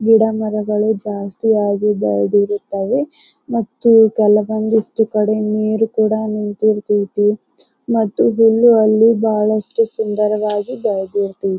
ಗಿಡ ಮರಗಳು ಜಾಸ್ತಿಯಾಗಿ ಬೆಳೆದಿರುತ್ತವೆ ಮತ್ತು ಕೆಲವೊಂದಿಷ್ಟು ಕಡೆ ನೀರ್ ಕೂಡ ನಿಂತು ಇರುತೈತಿ ಮತ್ತು ಹುಲ್ಲು ಅಲ್ಲಿ ಬಹಳಷ್ಟು ಸುಂದರವಾಗಿ ಬೆಳೆದೈತಿ .